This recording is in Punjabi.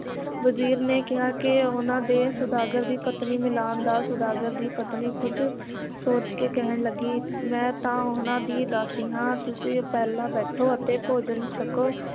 ਵਜ਼ੀਰ ਨੇ ਕਿਹਾ ਕੇ ਉਹਨਾਂ ਦੇ ਸੌਦਾਗਰ ਦੀ ਪਤਨੀ ਮਿਲਾਨ ਦਾ ਸੌਦਾਗਰ ਦੀ ਪਤਨੀ ਕੁੱਝ ਸੋਚ ਕੇ ਕਹਿਣ ਲੱਗੀ ਮੈ ਤਾਂ ਉਹਨਾਂ ਦੀ ਦਾਸੀ ਹਾਂ ਤੁਸੀਂ ਪਹਿਲਾਂ ਬੈਠੋ ਅਤੇ ਭੋਜਨ ਛਕੋ